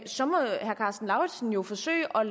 så må herre karsten lauritzen jo forsøge at